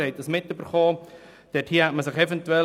Dies haben Sie mitgekommen.